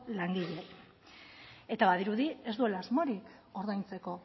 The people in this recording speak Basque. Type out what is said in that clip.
langileei eta badirudi ez duela asmorik ordaintzeko